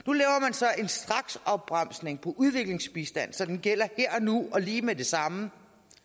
så en straksopbremsning for udviklingsbistand så den gælder her og nu og lige med det samme